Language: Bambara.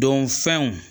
Don fɛnw